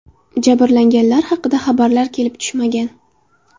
Jabrlanganlar haqida xabarlar kelib tushmagan.